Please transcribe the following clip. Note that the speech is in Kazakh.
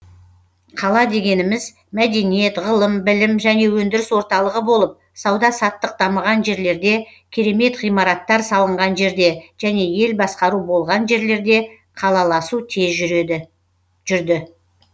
қала дегеніміз мәдениет ғылым білім және өндіріс орталығы болып сауда саттық дамыған жерлерде керемет ғимараттар салынған жерде және ел басқару болған жерлерде қалаласу тез жүрді